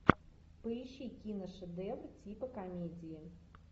поищи киношедевр типа комедии